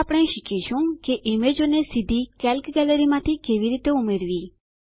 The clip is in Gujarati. હવે આપણે શીખીશું કે ઈમેજોને સીધી કેલ્ક ગેલેરીમાંથી કેવી રીતે ઉમેરવી